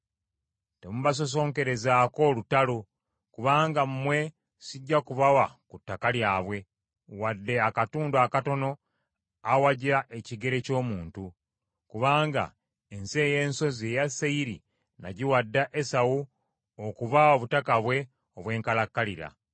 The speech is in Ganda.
Temubasosonkerezaako lutalo, kubanga mmwe sijja kubawa ku ttaka lyabwe, wadde akatundu akatono awagya ekigere ky’omuntu. Kubanga ensi ey’ensozi eya Seyiri nagiwa dda Esawu okuba obutaka bwe obwenkalakkalira.